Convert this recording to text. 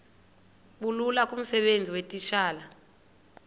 bulula kumsebenzi weetitshala